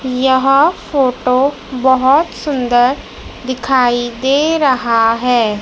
यह फोटो बहोत सुंदर दिखाई दे रहा है।